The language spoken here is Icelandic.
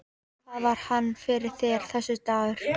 Hvað var hann fyrir þér, þessi dagur.